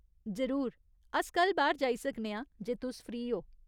जरूर, अस कल बाह्‌र जाई सकने आं जे तुस फ्री ओ।